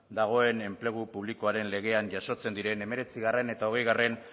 dagoen enplegu publikoaren legean jasotzen diren hemeretzigarrena eta hogeigarrena